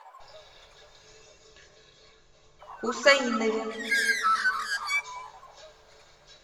хусаинове